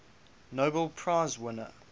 nobel prize winner